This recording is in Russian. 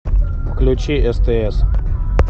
включи стс